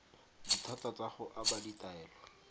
dithata tsa go aba ditaelo